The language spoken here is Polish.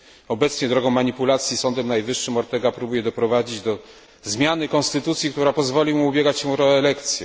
Obecnie drogą manipulacji Sądem Najwyższym Ortega, próbuje doprowadzić do zmiany konstytucji, która pozwoli mu ubiegać się o reelekcję.